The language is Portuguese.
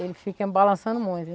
Ele fica balançando muito.